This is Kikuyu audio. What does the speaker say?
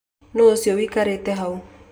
Nũ ũcio wĩkarĩte hau?